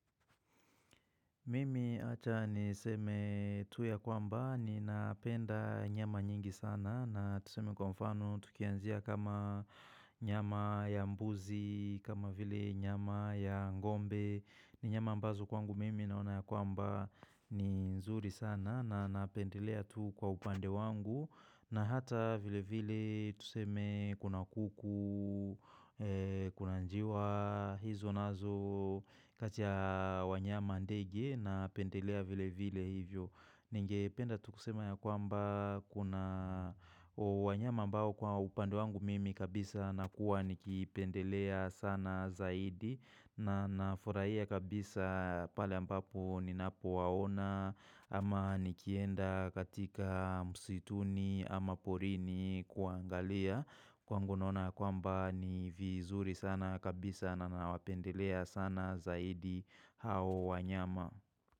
Mimi acha niseme tu ya kwamba ninapenda nyama nyingi sana na tuseme kwa mfano tukianzia kama nyama ya mbuzi, kama vile nyama ya ng'ombe. Ni nyama ambazo kwangu mimi naona ya kwamba ni nzuri sana na napendelea tu kwa upande wangu na hata vilevile tuseme kuna kuku, kuna njiwa, hizo nazo kati ya wanyama ndege napendelea vilevile hivyo. Ningependa tu kusema ya kwamba kuna wanyama ambao kwa upande wangu mimi kabisa nakuwa nikipendelea sana zaidi na nafurahia kabisa pale ambapo ninapowaona ama nikienda katika msituni ama porini kuangalia, kwangu naona ya kwamba ni vizuri sana kabisa na nawapendelea sana zaidi hao wanyama.